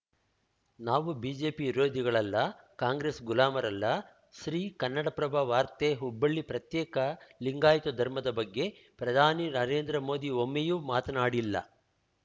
ನಾವು ಬಿಜೆಪಿ ವಿರೋಧಿಗಳಲ್ಲ ಕಾಂಗ್ರೆಸ್‌ ಗುಲಾಮರಲ್ಲ ಶ್ರೀ ಕನ್ನಡಪ್ರಭ ವಾರ್ತೆ ಹುಬ್ಬಳ್ಳಿ ಪ್ರತ್ಯೇಕ ಲಿಂಗಾಯತ ಧರ್ಮದ ಬಗ್ಗೆ ಪ್ರಧಾನಿ ನರೇಂದ್ರ ಮೋದಿ ಒಮ್ಮೆಯೂ ಮಾತನಾಡಿಲ್ಲ